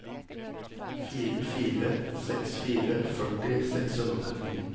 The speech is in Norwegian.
fire fire seks fire førti seks hundre og trettini